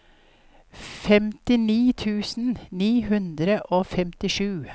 femtini tusen ni hundre og femtisju